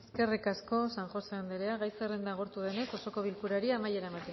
eskerrik asko san josé anderea gai zerrenda agortu denez osoko bilkurari amaiera